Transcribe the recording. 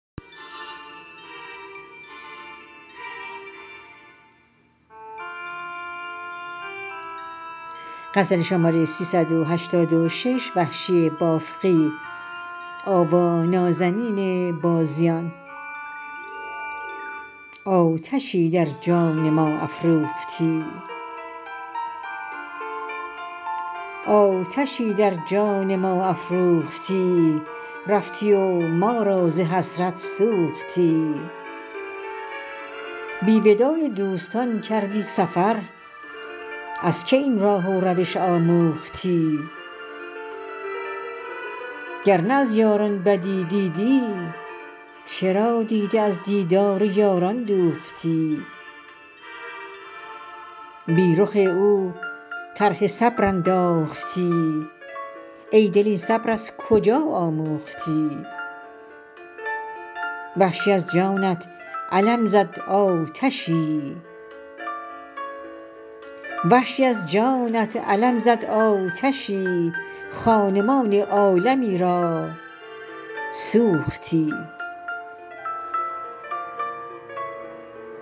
آتشی در جان ما افروختی رفتی و ما را ز حسرت سوختی بی وداع دوستان کردی سفر از که این راه و روش آموختی گرنه از یاران بدی دیدی چرا دیده از دیدار یاران دوختی بی رخ او طرح صبر انداختی ای دل این صبر از کجا آموختی وحشی از جانت علم زد آتشی خانمان عالمی را سوختی